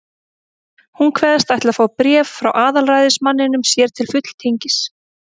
Hún kveðst ætla að fá bréf frá aðalræðismanninum sér til fulltingis.